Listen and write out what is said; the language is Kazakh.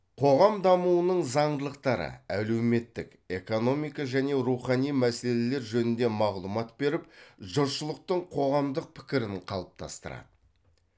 қоғам дамуының заңдылықтары әлеуметтік экономика және рухани мәселелер жөнінде мағлұмат беріп жұртшылықтың қоғамдық пікірін қалыптастырады